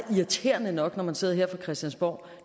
irriterende nok når man sidder her på christiansborg